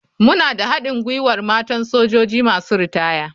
Muna da haɗin gwiwar matan sojoji masu ritaya.